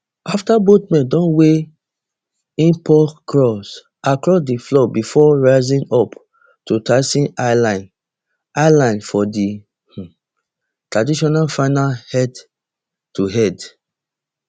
afta both men don weigh in paul crawl across di floor befor rising up to tyson eyeline eyeline for di um traditional final headtohead